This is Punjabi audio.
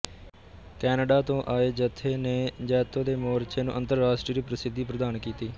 ਕੈਨੇਡਾ ਤੋਂ ਆਏ ਜਥੇ ਨੇ ਜੈਤੋ ਦੇ ਮੋਰਚੇ ਨੂੰ ਅੰਤਰਰਾਸ਼ਟਰੀ ਪ੍ਰਸਿੱਧੀ ਪ੍ਰਦਾਨ ਕੀਤੀ